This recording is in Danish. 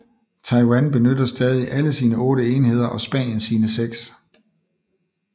Taiwan benytter stadig alle sine otte enheder og Spanien sine seks